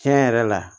Tiɲɛ yɛrɛ la